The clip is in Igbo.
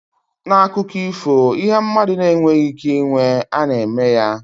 N'akụkọ ifo, ihe mmadụ na-enweghị ike ịnwe, a na-eme ya.